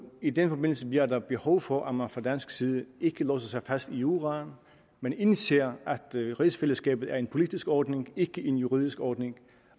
i den forbindelse bliver der behov for at man fra dansk side ikke låser sig fast i juraen men indser at rigsfællesskabet er en politisk ordning ikke en juridisk ordning